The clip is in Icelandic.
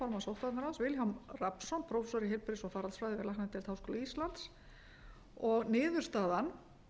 sóttvarnaráðs vilhjálm rafnsson prófessor í heilbrigðis og faraldsfræði við læknadeild háskóla íslands niðurstaðan